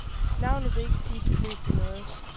Navnet vil ikke sige de fleste noget.